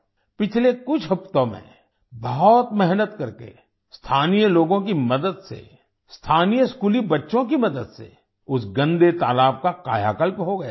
पिछले कुछ हफ्तों में बहुत मेहनत करके स्थानीय लोगों की मदद से स्थानीय स्कूली बच्चों की मदद से उस गंदे तालाब का कायाकल्प हो गया है